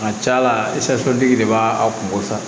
A ka ca la de b'a a kungo sa